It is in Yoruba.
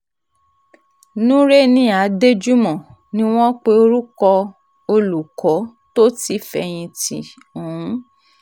nureni adéjúmọ́ ni wọ́n pe orúkọ olùkọ́ tó ti fẹ̀yìntì ọ̀hún